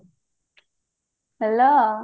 hello